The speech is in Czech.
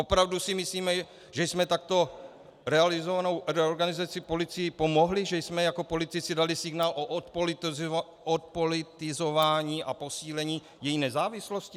Opravdu si myslíme, že jsme takto realizovanou reorganizací policii pomohli, že jsme jako politici dali signál o odpolitizování a posílení její nezávislosti?